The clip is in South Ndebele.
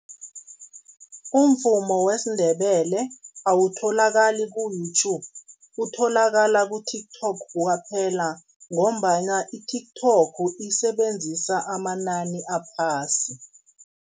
Umvumo wesiNdebele awutholakali ku-YouTube, utholakala ku-TikTok kwaphela ngombana i-TikTok isebenzisa amanani aphasi.